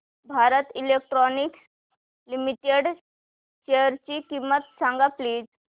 Bharat Electronics Limited शेअरची किंमत सांगा प्लीज